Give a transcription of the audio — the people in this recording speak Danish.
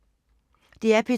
DR P2